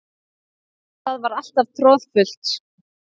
Það var alltaf troðfullt.